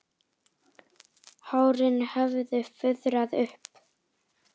Hárin höfðu fuðrað upp.